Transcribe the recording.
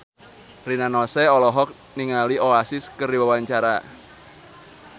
Rina Nose olohok ningali Oasis keur diwawancara